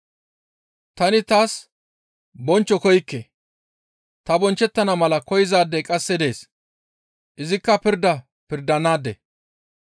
Tani taas bonchcho koykke. Ta bonchchettana mala koyzaadey qasse dees. Izikka pirda pirdanaade.